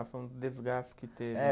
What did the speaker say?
Ah, foi um desgaste que teve. É